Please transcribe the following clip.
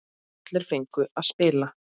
Allir fengu að spila.